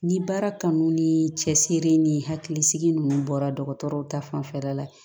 Ni baara kanu ni cɛsiri ni hakilisigi ninnu bɔra dɔgɔtɔrɔw ta fanfɛla la